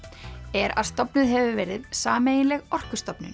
er að stofnuð hefur verið sameiginleg